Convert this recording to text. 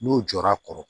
N'o jɔra kɔrɔ